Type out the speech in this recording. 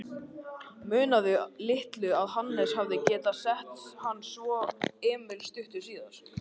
Munaði litlu að Hannes hefði getað sett hann og svo Emil stuttu síðar.